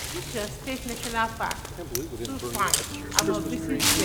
um this your state national packs um too fine, I must visit there